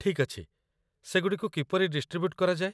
ଠିକ୍ ଅଛି, ସେଗୁଡ଼ିକୁ କିପରି ଡିଷ୍ଟ୍ରିବ୍ୟୁଟ୍ କରାଯାଏ?